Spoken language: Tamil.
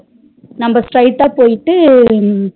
நம்ம straight அஹ் போயிட்டு